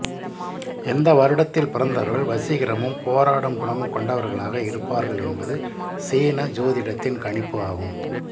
இந்த வருடத்தில் பிறந்தவர்கள் வசீகரமும் போராடும் குணமும் கொண்டவர்களாக இருப்பார்கள் என்பது சீன சோதிடத்தின் கணிப்பு ஆகும்